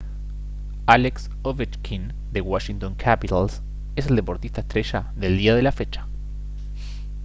alex ovechkin de washington capitals es el deportista estrella del día de la fecha